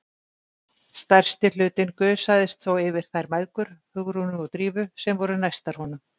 Stærsti hlutinn gusaðist þó yfir þær mæðgur, Hugrúnu og Drífu, sem voru næstar honum.